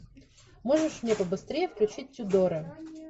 можешь мне побыстрее включить тюдоры